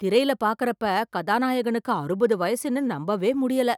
திரைல பாக்கறப்ப கதாநாயகனுக்கு அறுபது வயசுன்னு நம்பவே முடியல.